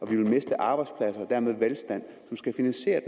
vil miste arbejdspladser og dermed velstand som skal finansiere